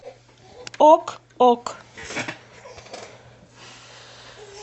ок ок